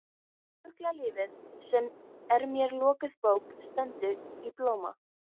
Fuglalífið sem er mér lokuð bók stendur í blóma.